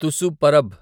Tusu Parab